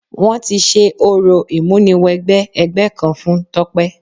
Wọ́n ti ṣe orò ìmúniwẹgbẹ́ ẹgbẹ́ kan fún Tọ́pẹ́.